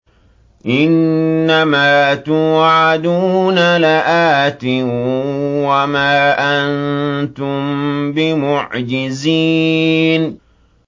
إِنَّ مَا تُوعَدُونَ لَآتٍ ۖ وَمَا أَنتُم بِمُعْجِزِينَ